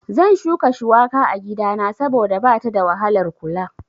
Zan shuka shuwaka a gidana saboda bata da wahalar kula